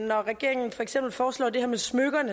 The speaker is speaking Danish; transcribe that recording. når regeringen for eksempel foreslår det her med smykker